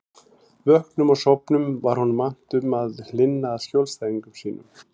Vöknum og sofnum var honum annt um að hlynna að skjólstæðingum sínum.